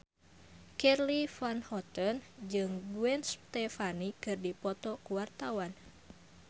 Charly Van Houten jeung Gwen Stefani keur dipoto ku wartawan